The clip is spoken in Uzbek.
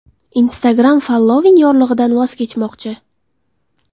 Instagram following yorlig‘idan voz kechmoqchi.